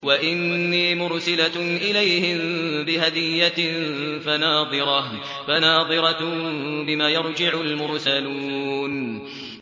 وَإِنِّي مُرْسِلَةٌ إِلَيْهِم بِهَدِيَّةٍ فَنَاظِرَةٌ بِمَ يَرْجِعُ الْمُرْسَلُونَ